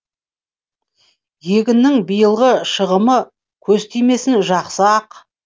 егіннің биылғы шығымы көз тимесін жақсы ақ